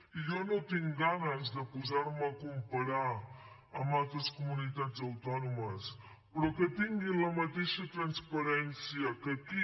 i jo no tinc ganes de posar me a comparar amb altres comunitats autònomes però que tinguin la mateixa transparència que aquí